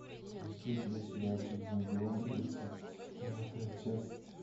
есть ли у тебя сериальчик зомбилэнд тридцать девятая часть